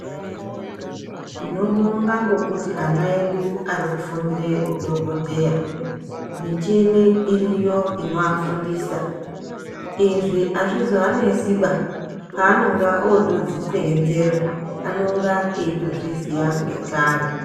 Tinobonga ngokuti ana edu ari kufundire udhokodheya michini iriyo inoafundisa, izvi azvizoanesi ba paanenga otodziseenzesa anenge eitozviziya ngekare.